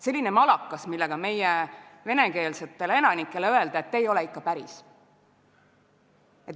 Selline malakas, millega meie venekeelsetele elanikele öelda, et te ei ole ikka päris.